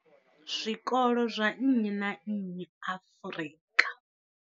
Zwikolo zwa nnyi na nnyi Afrika.